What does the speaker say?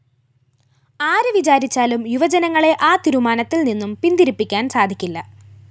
ആര് വിചാരിച്ചാലും യുവജനങ്ങളെ ആ തീരുമാനത്തില്‍ നിന്നും പിന്തിരിപ്പിക്കാന്‍ സാധിക്കില്ല